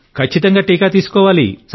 ఖచ్చితంగా టీకా తీసుకోండి